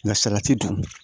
Nka salati dun